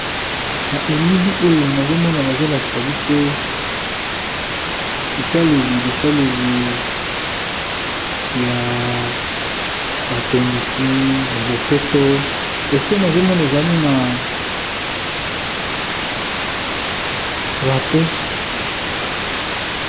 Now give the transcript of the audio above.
Na elili oyo nazomona bazolakisa biso bisaleli bisaleli ya batongisi ya bopeto esika nazomona ezali na rato.